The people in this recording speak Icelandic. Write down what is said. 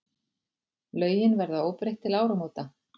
Lögin verða óbreytt til áramóta.